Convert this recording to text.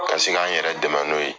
Ka se k'an yɛrɛ dɛmɛ n'o ye